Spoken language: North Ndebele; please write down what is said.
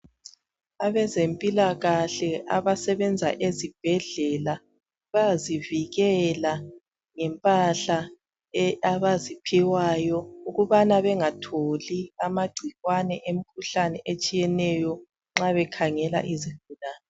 Abezempilakahle abasebenza ezibhedlela bayazivikela ngempahla abaziphiwayo ukubana bangatholi amagcikwane emikhuhlane etshiyeneyo nxa bekhangela izigulane.